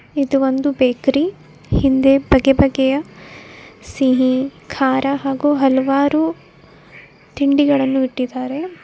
ಇದು ಒಂದು ಬೇಕರಿ ಹಿಂದೆ ಬಗೆ ಬಗೆಯ ಸಿಹಿ ಖಾರ ಹಾಗು ಹಲವಾರು ತಿಂಡಿಗಳನ್ನು ಇಟ್ಟಿದ್ದಾರೆ.